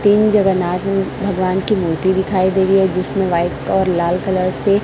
तीन जगरनाथ में भगवान की मूर्ति दिखाई दे रही है जिसमें व्हाइट और लाल कलर से--